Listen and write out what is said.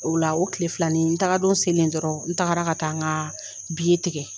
O la o tilefilanin taga don selen dɔrɔn n tagara ka taa n ka tigɛ.